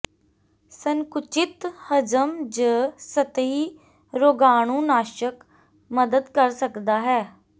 ਸੰਕੁਚਿਤ ਹਜ਼ਮ ਜ ਸਤਹੀ ਰੋਗਾਣੂਨਾਸ਼ਕ ਮਦਦ ਕਰ ਸਕਦਾ ਹੈ